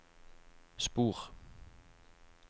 spor